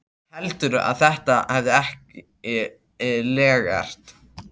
Heldurðu að þetta verði ekki lekkert?